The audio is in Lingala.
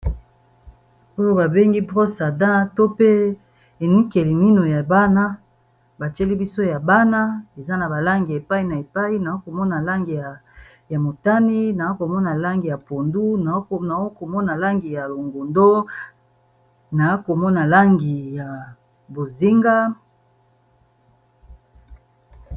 Oyo babengi broce à dent to pe enikeli mino ya bana, eza na balangi ya epai na epai naa komona langi ya motane, naa komona langi ya pondu, naa komona langi ya longondo, naa komona langi ya bozinga.